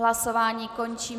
Hlasování končím.